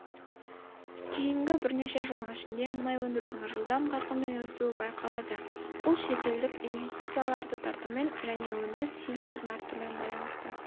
кейінгі бірнеше жылдың ішінде мұнай өндірудің жылдам қарқынмен өсуі байқалады бұл шетелдік инвестицияларды тартумен және өндіріс тиімділігінің артуымен байланысты